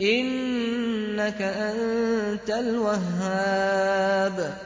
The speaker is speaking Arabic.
إِنَّكَ أَنتَ الْوَهَّابُ